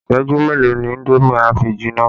Isẹju mélòó ni indomi a fi jìnnà?